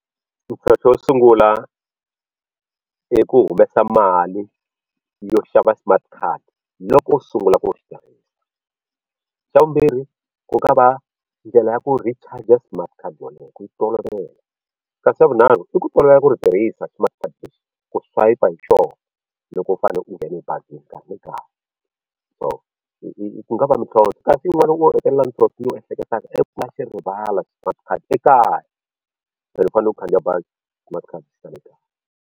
xo sungula i ku humesa mali yo xava smart card loko u sungula ku ri tirhisa xa vumbirhi ku nga va ndlela ya ku recharge smart card yoleyo ku yi tolovela kasi xa vunharhu i ku tolovela ku ri tirhisa smart card lexi ku swayipa hi xona loko u fane u nghena ebazini nkarhi ni nkarhi so i ku nga va mintlhontlho kasi yin'wana wo hetelela mintlhintlho ni yi ehleketaka i ku u nga xi rivala smart card ekaya u fanele u khandziya bazi i kuma ku khadi xi sale ekaya.